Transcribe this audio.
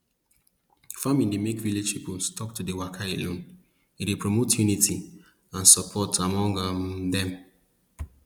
farming dey make village people stop to dey waka alone e dey promote unity and support among um dem